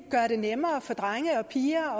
gøre det nemmere for drenge og piger